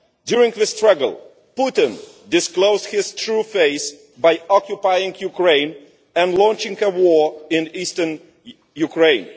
During the struggle, Putin disclosed his true face by occupying Ukraine and launching a war in eastern Ukraine.